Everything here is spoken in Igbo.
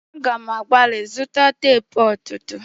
A ga m agbali zụta teepu ọtụtụ.